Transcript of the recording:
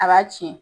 A b'a tiɲɛ